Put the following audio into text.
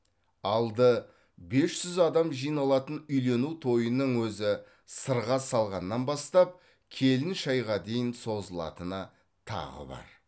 алды бес жүз адам жиналатын үйлену тойының өзі сырға салғаннан бастап келін шайға дейін созылатыны тағы бар